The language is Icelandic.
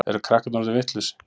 Eru krakkarnir orðin vitlaus?